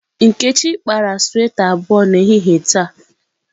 Nkechi kpara sweta abụọ n'ehihie taa.